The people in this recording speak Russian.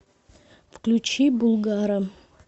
включи булгара